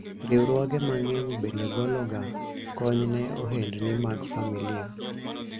riwruoge mang'eny bende golo ga kony ne ohendni mag familia